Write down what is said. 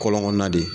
Kɔlɔn kɔnɔna de